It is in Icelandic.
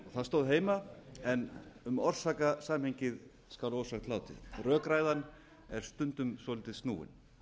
það stóð heima en um orsakasamhengið skal ósagt látið rökræðan er stundum svolítið snúin